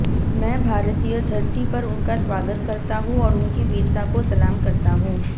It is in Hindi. मैं भारतीय धरती पर उनका स्वागत करता हूं और उनकी वीरता को सलाम करता हूं